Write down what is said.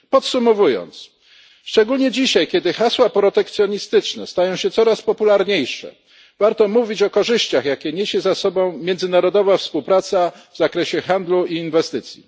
Podsumowując, szczególnie dzisiaj, kiedy hasła protekcjonistyczne stają się coraz popularniejsze, warto mówić o korzyściach, jakie niesie za sobą międzynarodowa współpraca w zakresie handlu i inwestycji.